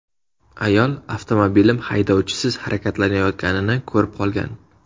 Ayol avtomobilim haydovchisiz harakatlanayotganini ko‘rib qolgan.